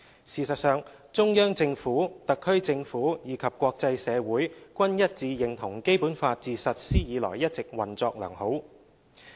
事實上，中央政府、特區政府，以及國際社會均一致認同《基本法》自實施以來一直運作良好。